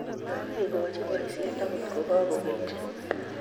makikochi boisie akot ko kakokelchi